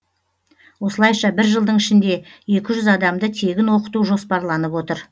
осылайша бір жылдың ішінде екі жүз адамды тегін оқыту жоспарланып отыр